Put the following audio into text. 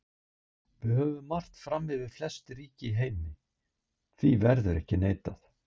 Við höfum margt fram yfir flest ríki í heimi, því verður ekki neitað.